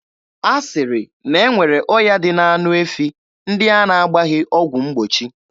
A sịrị na e nwere ọya dị n'anụ efi ndị a na-agbaghị ọgwụ mgbochi.